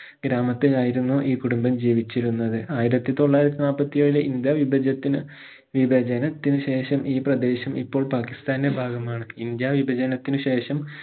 ഗ്രാമത്തിലായിരുന്നു ഈ കുടുംബം ജീവിച്ചിരുന്നത് ആയിരത്തി തൊള്ളായിരത്തി നാല്പത്തിഏഴിലെ ഇന്ത്യ വിഭജത്തിന് വിഭചനത്തിന് ശേഷം ഈ പ്രദേശം ഇപ്പോൾ പാകിസ്ഥാനിന്റെ ഭാഗമാണ് ഇന്ത്യ വിഭചനത്തിന് ശേഷം